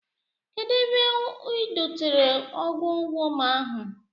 Kedụ ebe u dotere ọgwụ wọm ahụ?